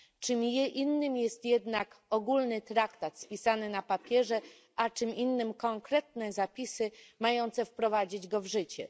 Czym innym jest jednak ogólny traktat spisane na papierze, a czym innym konkretne zapisy mające wprowadzić go w życie.